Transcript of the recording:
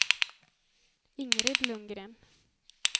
Ingrid Lundgren